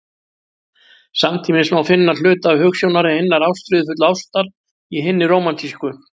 Samtímis má finna hluta hugsjónar hinnar ástríðufullu ástar í hinni rómantísku.